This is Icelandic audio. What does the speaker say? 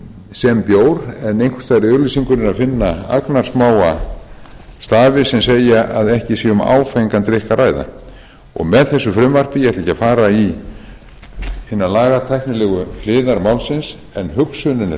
sem bjór en einhvers staðar í auglýsingunni er að finna agnarsmáa stafi sem segja að ekki sé um áfengan drykk að ræða og með þessu frumvarpi ég ætla ekki að fara í hinar lagatæknilegu hliðar málsins en hugsunin er